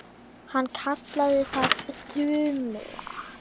Hann kallaði það Þumal